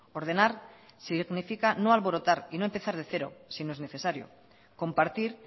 ordenar significa no alborotar y no empezar de cero si no es necesario compartir